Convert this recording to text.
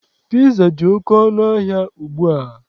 Piza dị oke ọnụ ahịa ugbua.